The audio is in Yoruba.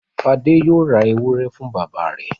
Fadé yóò ra ewúrẹ́ fún bàbá rẹ̀.